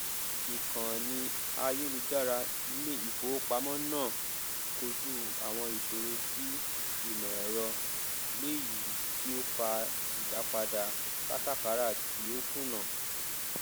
ìkànnì àyélujára ilé ìfowópamọ náà kojú àwọn ìṣòro ti ìmọẹrọ léyìí tí ó fa ìdápadà kátàkárà tí ó kùnà